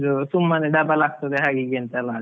ಇದು ಸುಮ್ಮನೆ double ಆಗ್ತದೆ ಹಾಗೆ ಹೀಗೆ ಅಂತೆಲ್ಲ.